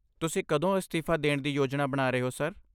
ਤੁਸੀਂ ਕਦੋਂ ਅਸਤੀਫਾ ਦੇਣ ਦੀ ਯੋਜਨਾ ਬਣਾ ਰਹੇ ਹੋ, ਸਰ?